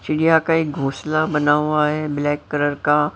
चिड़िया का एक घोसला बना हुआ है ब्लैक कलर का--